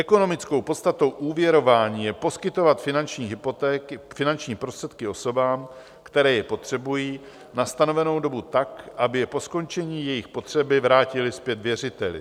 Ekonomickou podstatou úvěrování je poskytovat finanční prostředky osobám, které je potřebují, na stanovenou dobu tak, aby je po skončení jejich potřeby vrátily zpět věřiteli.